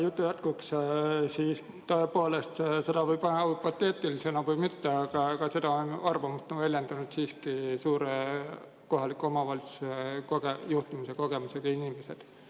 Jutu jätkuks: tõepoolest, seda võib võtta hüpoteetilisena või mitte, aga seda arvamust on väljendanud siiski suure kohaliku omavalitsuse juhtimise kogemusega inimesed.